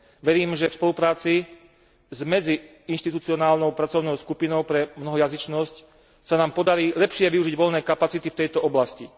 Verím, že v spolupráci s medziinštitucionálnou pracovnou skupinou pre mnohojazyčnosť sa nám podarí lepšie využiť voľné kapacity v tejto oblasti.